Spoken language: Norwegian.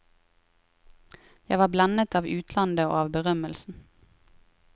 Jeg var blendet av utlandet og av berømmelsen.